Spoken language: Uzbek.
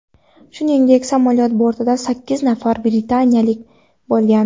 Shuningdek samolyot bortida sakkiz nafar britaniyalik bo‘lgan.